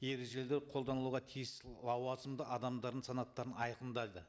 ережелер қолдануға тиіс лауазымды адамдардың санаттарын айқындайды